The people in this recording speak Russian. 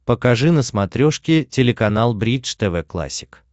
покажи на смотрешке телеканал бридж тв классик